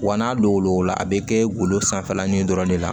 Wa n'a don lɔgɔ la a bɛ kɛ golo sanfɛlanin in dɔrɔn de la